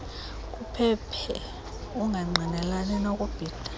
kuphephe ungangqinelani nokubhida